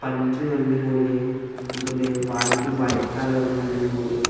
pan chu ngan le ngo le antoh le wall chu white color ma ngan le ngo le.